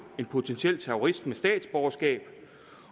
en potentiel terrorist med statsborgerskab